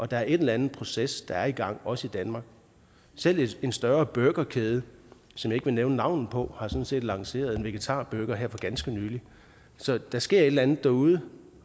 der er en eller anden proces der er i gang også i danmark selv en større burgerkæde som jeg vil nævne navnet på har sådan set lanceret en vegetarburger her for ganske nylig så der sker et eller andet derude